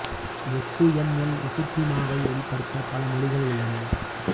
X M L இசுகீமாவை வெளிப்படுத்த பல மொழிகள் உள்ளன